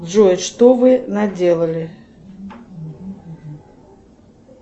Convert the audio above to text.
джой что вы наделали